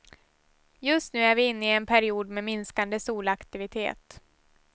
Just nu är vi inne i en period med minskande solaktivitet.